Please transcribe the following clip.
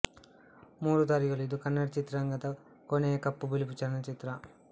ಮೂರು ದಾರಿಗಳು ಇದು ಕನ್ನಡ ಚಿತ್ರರಂಗದ ಕೊನೆಯ ಕಪ್ಪುಬಿಳುಪು ಚಲನಚಿತ್ರ